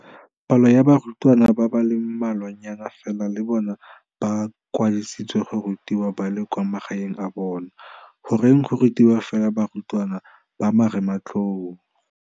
Palo ya barutwana ba le mmalwanyana fela le bona ba kwadiseditswe go rutiwa ba le kwa magaeng a bona. Goreng go rutiwa fela barutwana ba Marematlou?